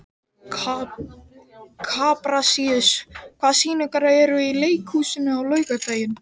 Kaprasíus, hvaða sýningar eru í leikhúsinu á laugardaginn?